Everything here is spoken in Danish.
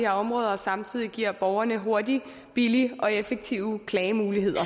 her områder og samtidig giver borgerne hurtige billige og effektive klagemuligheder